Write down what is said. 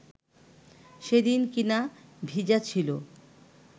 সেদিন কিনা ভিজা ছিল